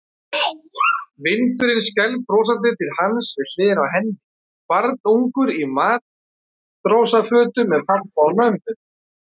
Vinurinn skælbrosandi til hans við hliðina á henni, barnungur í matrósafötum með pabba og mömmu.